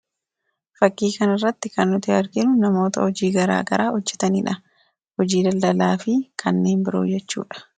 fakkii kana irratti kan nuti arginu namoota hojii garaa garaa hojjetaniidha hojii daldalaa fi kanneen biroo jechuudha.